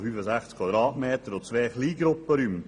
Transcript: Weiter erhalten wir noch zwei kleine Gruppen räume.